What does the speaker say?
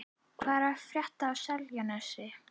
Hvað er að frétta af Seltjarnarnesi?